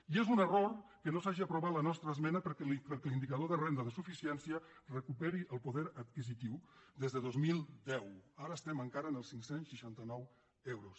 i és un error que no s’hagi aprovat la nostra esmena perquè l’indicador de renda de suficiència recuperi el poder adquisitiu des de dos mil deu ara estem encara en els cinc cents i seixanta nou euros